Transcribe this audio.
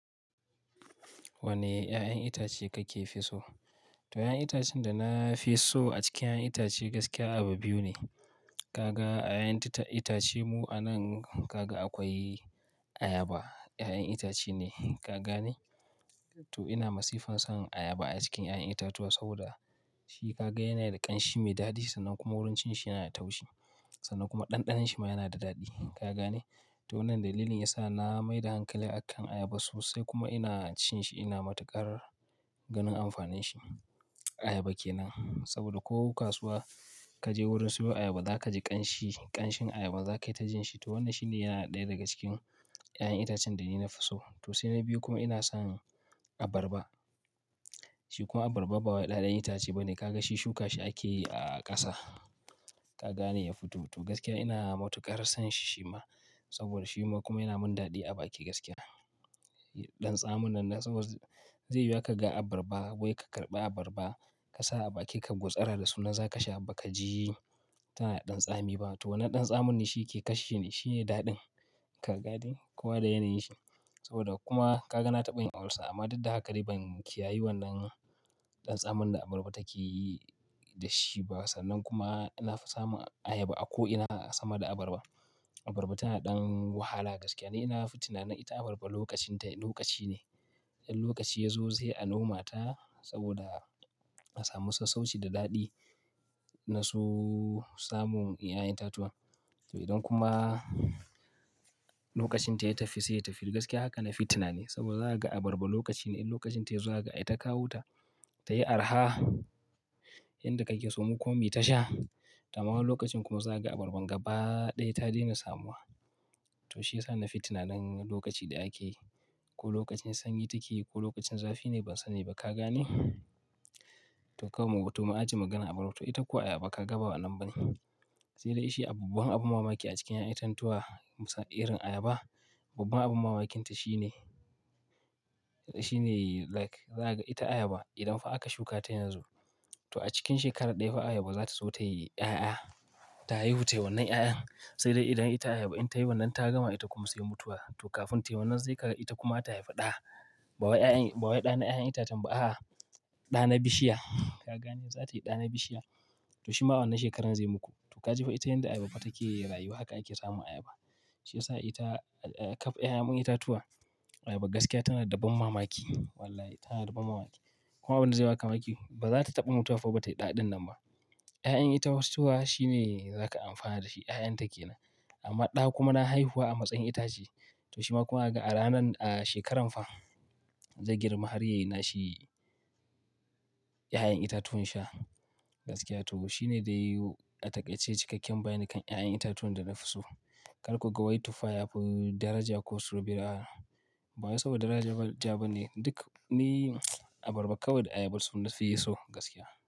Wane 'ya'yan itace kake fi so? To 'ya'yan itacen da na fi so a cikin 'ya'yan itace gaskiya abu biyu ne. Kaga a 'ya'yan itacemu a nan, kaga akwai ayaba. 'Ya'yan itace ne, kaga ne? To ina masifan son ayaba a cikin 'ya'yan itatuwa saboda shi kaga yana da ƙanshi mai daɗi sannan kuma wurin cin shi yana da taushi sannan kuma ɗanɗanon shi ma yana da daɗi, kaga ne? To wannan dalilin yasa na mai da hankali akan ayaba sosai kuma ina cin shi, ina matuƙar ganin amfanin shi. Ayaba kenan saboda ko kasuwa ka je wurin siyo ayaba, za ka ji ƙanshi, ƙanshin ayaba za kai ta jin shi. To wannan shi ne yana ɗaya daga cikin 'ya'yan itacen da ni na fi so. To sai na biyu kuma ina son abarba. Shi kuma abarba ba wai 'ya'yan itace ba ne. Kaga shi shuka shi ake yi a ƙasa, kaga ne? Ya fito. To gaskiya ina matuƙar son shi shi ma saboda shi ma kuma yana mun daɗi a baki gaskiya. Ɗan tsamin nan saboda zai yiwu aka ga abarba wai ka karɓi abarba ka sa a bakin ka ka gutsara da su nan za ka sha ba ka ji tana da ɗan tsami ba. To wannan ɗan tsamin ne shi ke kashe ni, shi ne daɗin, ka gane? Kowa da yanayin shi. Saboda kuma ka ga na taɓa yin ulcer amma dudda haka dai ban kiyayi wannan ɗan tsamin da abarba take yi da shi ba sannan kuma na fi samun ayaba a ko'ina sama da abarba. Abarba tana da ɗan wahala gaskiya. Ni nafi tinanin ita abarba lokacin ta lokaci ne. Idan lokaci ya zo sai noma ta saboda a samu sassauci da daɗi na su samun 'ya'yan itatuwan. To idan kuma lokacin ta ya tafi sai ya tafi. Gaskiya haka nafi tinani saboda za ka ga abarba lokacine in lokacin ta ya zo zahaga a yi ta kawo ta, ta yi araha, yanda kake so mu kuma muyi ta sha. Ta amma wa lokacin kuma za ka ga abarban gaba ɗaya ta daina samuwa. To shi ya sa na fi tunanin lokaci daya ake ko lokacin sanyi take ko lokacin zafi ne ban sani ba, kaga ne? To kawai mu to mu a jiye maganar abar. To ita kuwa ayaba ka ga ba wannan bane. Sai dai shi abubuwan abin mamaki a cikin 'ya'yan itatuwa irin ayaba, babban abin mamaki ta shi ne, shi ne like za ka ga ita ayaba idan fa aka shuka ta yanzu, to a cikin shekara ɗaya fa ayaba za ta zo ta yi 'ya'ya, ta haihu tai wannan 'ya'yan. Sai dai idan ita ayaba in ta yi wannan ta gama ita kuma sai mutuwa. To kafin tai wannan zai kaga ita kuma ta haifi ɗa, ba wai 'ya'yan, ba wai ɗa na 'ya'yan itacen ba, a'a ɗa na bishiya, kaga ne? Za tayi ɗa na bishiya. To shi ma wannan shekarar zai muku. To ka ji fa ita yanda ayaba fa take yi rayuwa, haka ake samun ayaba. Shi ya sa ita kaf ƴaƴa itatuwa, ayaba gaskiya tana da babban mamaki. Wallahi tana da babban mamaki. Kuma abun da zai ba ka mamaki ba za ta taɓa mutuwa fa ba tayi ɗa ɗin nan ba. 'Ya'yan itacuwa shi ne za ka amfana da shi, 'ya'yan ta kenan. Amma ɗa kuma na haihuwa a matsayin itace. To shi ma kuma a ranan, a shekaran fa zai girma har ya yi na shi 'ya'yan itatuwan sha gaskiya. To shi ne dai a takaice cikakken bayani kan 'ya'yan itatuwan da na fi so. Kar ku ga wai tufah yafi daraja ko su bere a'a. Ba wai saboda daraja bane duk ni abarba kawai da ayaba su na fi so gaskiya.